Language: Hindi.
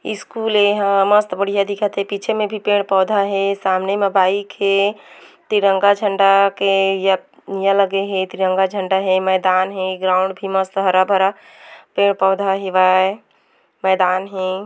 स्कूल ए एहा मस्त बढ़िया दिखत हे पीछे में भी पेड़ पौधा हे सामने म बाइक हे तिरंगा झंडा के या लगे हे तिरंगा झंडा हे मैदान हे ग्राउंड मस्त हरा-भर पौधा हेवय मैदान हे।